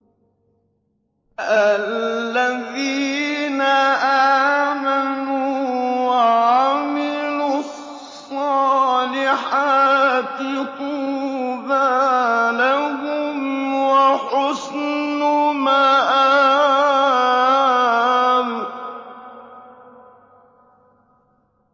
الَّذِينَ آمَنُوا وَعَمِلُوا الصَّالِحَاتِ طُوبَىٰ لَهُمْ وَحُسْنُ مَآبٍ